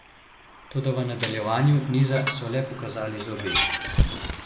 Toda v nadaljevanju niza so le pokazali zobe.